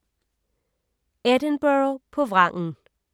Edinburgh på vrangen